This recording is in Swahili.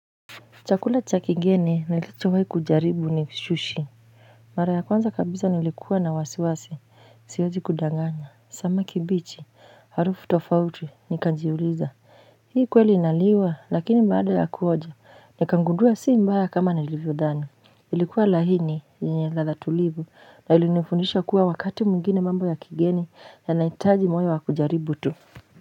Chakula cha kigeni nilichowahi kujaribu ni sushi mara ya kwanza kabisa nilikuwa na wasiwasi siwezi kudanganya samaki bichi harufu tofauti nikajiuliza hii kweli inaliwa lakini baada ya kuonja nikagundua si mbaya kama nilivyodhani ilikuwa laini yenye ladha tulivu na ilinifundisha kuwa wakati mwingine mambo ya kigeni yanahitaji moyo wa kujaribu tu.